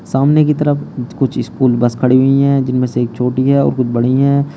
सामने की तरफ कुछ कुछ स्कूल बस खड़ी हुई हैं जिनमें से एक छोटी है और कुछ बड़ी हैं।